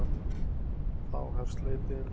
Þá hefst leitin.